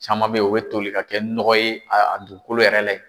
Caman be yen , u be toli ka kɛ nɔgɔ ye, a dugukolo yɛrɛ la yen.